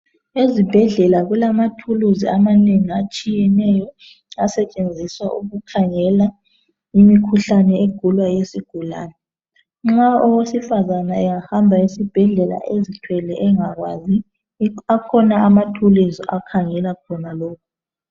Ezibhedlela kulama thuluzi amanengi atshiyeneyo esetshenziswa ukukhangela imikhuhlane egulwa yizigulani nxa owesifazana ehamba esibhedlela ezithwele engakwazi akhona ama thuluzi akhangela khonalokho